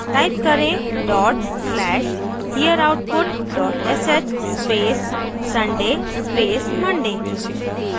type करें dot slash hereoutput dot sh space sunday space monday